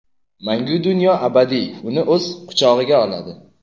Mangu dunyo abadiy uni o‘z quchog‘iga oladi.